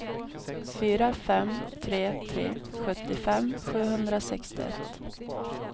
fyra fem tre tre sjuttiofem sjuhundrasextioett